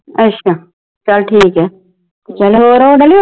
ਅੱਛਾ, ਚੱਲ ਠੀਕ ਏ। ਚੱਲ ਹੋਰ ਡੋਲੀ